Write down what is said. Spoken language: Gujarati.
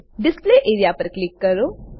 ડિસ્પ્લે એઆરઇએ પર ક્લિક કરો